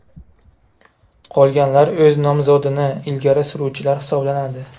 Qolganlar o‘z nomzodini ilgari suruvchilar hisoblanadi.